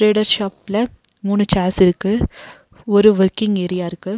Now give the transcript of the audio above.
Trader ஷாப்ல மூணு chairs இருக்கு ஒரு வொர்க்கிங் ஏரியா இருக்கு.